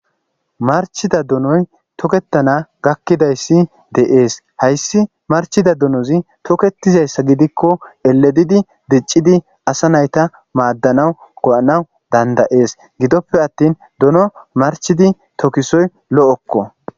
marchida donoy tokettana gakkidayssi de7ees hayssi marchida dunozi toketizayssa gidikko eledidi diccidi asa nayta maaddanawu go7anawu dandayees gidoppe attin dono marchidi tokisoy lo7okko